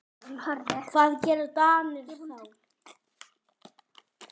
Hvað gera Danir þá?